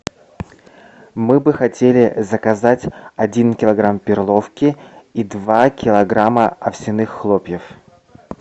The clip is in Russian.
мы бы хотели заказать один килограмм перловки и два килограмма овсяных хлопьев